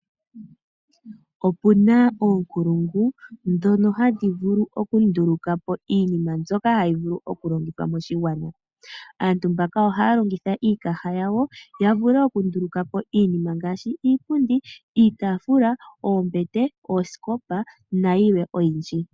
Opena oonkulungu dhono hadhi vulu okundulukapo iinima mbyoka hayi vulu okulongithwa moshigwana. Aantu mbaka ohaya longitha iikaha yawo yavule okundulukapo iinima ngaashi iipundi, iitafula, oombete , Ooskopa nayilwe oyindji.